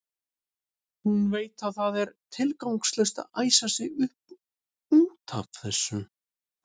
Hún veit að það er tilgangslaust að æsa sig upp út af þessu.